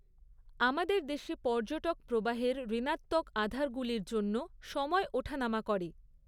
আমাদের দেশে পর্যটক প্রবাহের ঋণাত্বক আধারগুলির জন্য সময় ওঠা নামা করে।